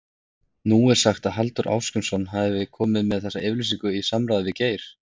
Nú er sagt að Halldór Ásgrímsson hafi komið með þessa yfirlýsingu í samráði við Geir?